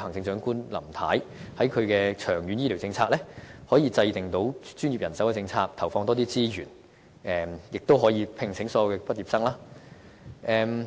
行政長官"林太"在其長遠醫療政策上，可以制訂出專業人手政策，投放更多資源，並悉數聘請所有醫科畢業生。